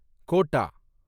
quota